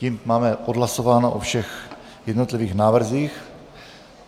Tím máme hlasováno o všech jednotlivých návrzích.